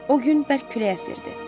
O gün bərk külək əsirdi.